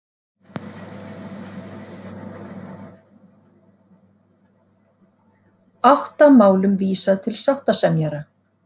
Átta málum vísað til sáttasemjara